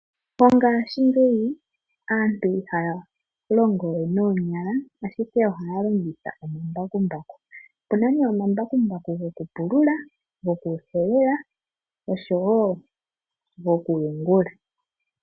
Mongashingeyi aantu ihaya longo we noonyala, ashike ohaya longitha oma mbakumbaku. Opu na nee oma mbakumbaku goku pulula, goku helela nosho woo goku yungula.